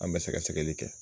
An bɛ sɛgɛ sɛgli kɛ.